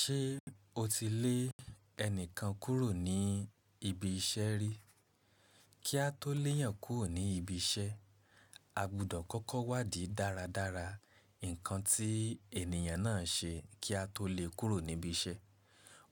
Ṣé o ti lé ẹni kan kúrò ní ibi iṣẹ́ rí? Kí a tó le èyàn kúrò ní ibi iṣẹ́, a gbudọ̀ kọ́kọ́ wádìí dáradára nǹkan tí ènìyàn náà ṣe kí a tó lè kúrò ní ibi iṣẹ́.